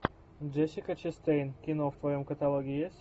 джессика честейн кино в твоем каталоге есть